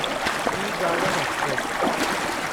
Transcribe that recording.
T garden express